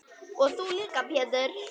Og þú líka Pétur.